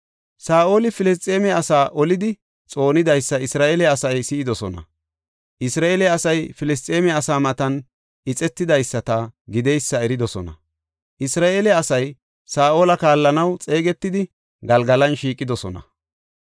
Saa7oli Filisxeeme asaa olidi xoonidaysa Isra7eele asay si7idosona; Isra7eele asay Filisxeeme asaa matan ixetidaysata gideysa eridosona. Isra7eele asay Saa7ola kaallanaw xeegetidi Galgalan shiiqidosona.